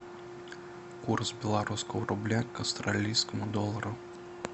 курс белорусского рубля к австралийскому доллару